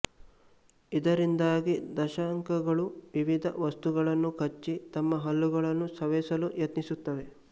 ಇದರಿಂದಾಗಿ ದಂಶಕಗಳು ವಿವಿಧ ವಸ್ತುಗಳನ್ನು ಕಚ್ಚಿ ತಮ್ಮ ಹಲ್ಲುಗಳನ್ನು ಸವೆಸಲು ಯತ್ನಿಸುತ್ತವೆ